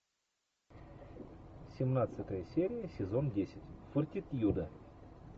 семнадцатая серия сезон десять фортитьюда